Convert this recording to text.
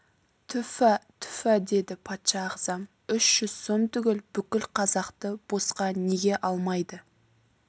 түфа түфа деді патша ағзам үш жүз сом түгіл бүкіл қазақты босқа неге алмайды